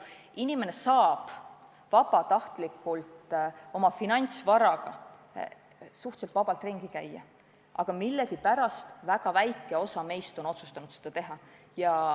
Inimene saab oma finantsvaraga suhteliselt vabalt ringi käia, aga millegipärast vaid väike osa meist on otsustanud seda teha.